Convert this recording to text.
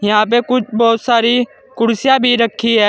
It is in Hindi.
यहां पे कुछ बोहोत सारी कुर्सियां भी रखी हैं।